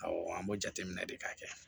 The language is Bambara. Awɔ an bɛ jateminɛ de k'a kɛ